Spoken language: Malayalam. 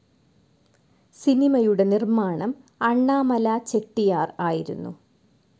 സിനിമയുടെ നിർമ്മാണം അണ്ണാമല ചെട്ടിയാർ ആയിരുന്നു.